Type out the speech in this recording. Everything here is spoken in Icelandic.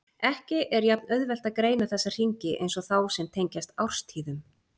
Ekki er jafn auðvelt að greina þessa hringi eins og þá sem tengjast árstíðum.